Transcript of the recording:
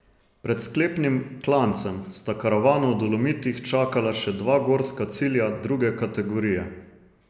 Pred sklepnim klancem sta karavano v Dolomitih čakala še dva gorska cilja druge kategorije.